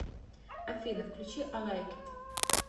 афина включи ай лайк ит